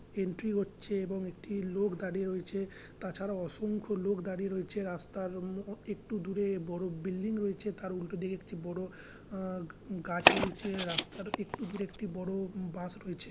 Entry হচ্ছে এবং একটি লোক দাঁড়িয়ে রয়েছে তাছাড়া অসংখ্য লোক দাঁড়িয়ে রয়েছে রাস্তার ম একটু দূরে বড়ো বিল্ডিং রয়েছে তার উল্টো দিকে একটা বড়ো উউ গাছ রয়েছে রাস্তার একটু দূরে একটি উম বড়ো বাস রয়েছে।